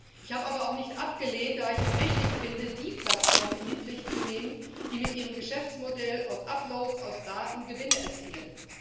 Ich habe aber auch nicht abgelehnt, da ich es richtig finde, die Plattformen in die Pflicht zu nehmen, die mit ihrem Geschäftsmodell aus Uploads, aus Daten Gewinne erzielen.